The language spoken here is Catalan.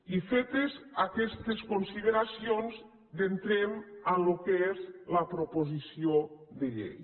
i fetes aquestes consideracions entrem al que és la proposició de llei